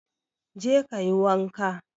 Je ka yi wanka!